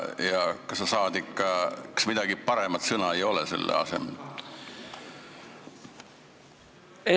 Kas mingit paremat sõna selle asemele panna ei ole?